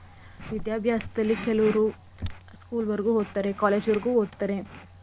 ವಿದ್ಯಾಭ್ಯಾಸದಲ್ಲಿ ಕೆಲುವ್ರು school ವರೆಗೂ ಓದ್ತಾರೇ college ವರೆಗೂ ಓದ್ತಾರೇ